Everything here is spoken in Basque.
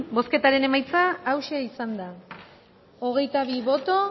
bozketaren emaitza onako izan da hirurogeita hamabi eman